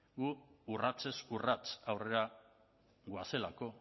guk urratsez urrats aurrera goazelako